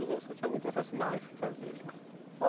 ou você tinha algum processo mais que fazia demais?